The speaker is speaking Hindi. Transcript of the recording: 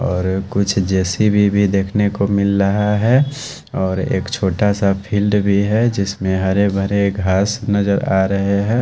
और कुछ जे_सी_ बी भी देखने को मिल रहा है और एक छोटा सा फ़ील्ड भी है जिसमें हरे भरे घास नज़र आ रहे हैं।